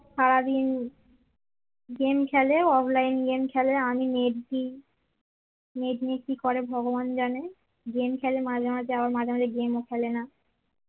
সারাদিন গেম খেলে offline game খেলে আমি নেট দিই নেট নিয়ে কি করে ভগবান জানে game খেলে মাঝে মাঝে আবার মাঝে মাঝে গেম ও খেলেনা